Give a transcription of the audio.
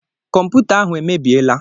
Kọmputa ahụ emebiela.